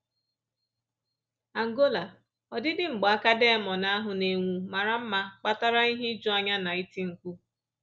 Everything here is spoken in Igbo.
Angola: “Ọdịdị mgbaaka diamọnd ahụ na-enwu mara mma kpatara ihe ijuanya na iti mkpu